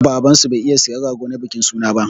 Baban su bai iya siyan rago na bikin suna ba.